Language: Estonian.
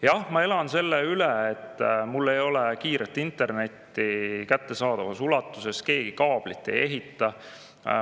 Jah, ma elan selle üle, et mul ei ole kiiret internetti kättesaadavas ulatuses, et keegi kaablit ei paigalda.